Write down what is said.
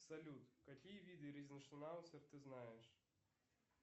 салют какие виды ризеншнауцер ты знаешь